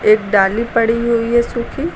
एक डाली पड़ी हुई है सुखी--